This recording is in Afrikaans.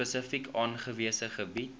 spesifiek aangewese gebiede